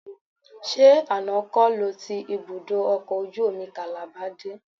Ṣé àná kọ́ lo ti ibùdó ọkọ̀ ojú omi Calabar dé?